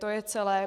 To je celé.